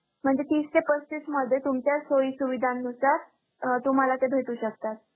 म्हणजे तीस ते पस्तीस मध्ये तुमच्या सोयींसुविधांनुसार अं तुम्हांला ते भेटू शकतात.